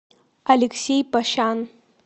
алексей пощан